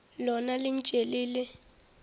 lona le ntše le le